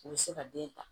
U bɛ se ka den ta